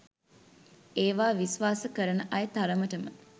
ඒවා විස්වාස කරන අය තරමට‍ම